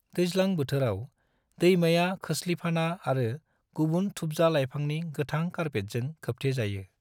दैज्लां बोथोराव, दैमाया खोसलिफाना आरो गुबुन थुबजा लायफांनि गोथां कारपेटजों खोबथे जायो।